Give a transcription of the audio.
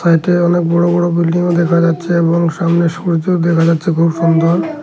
সাইডে অনেক বড় বড় বিল্ডিংও দেখা যাচ্ছে এবং সামনে সূর্য দেখা যাচ্ছে খুব সুন্দর।